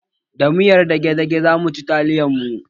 Da miyar dage-dage zamu ci taliyar mu